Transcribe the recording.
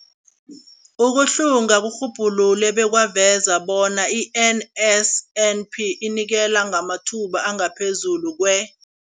Ukuhlunga kurhubhulule bekwaveza bona i-NSNP inikela ngamathuba angaphezulu kwe-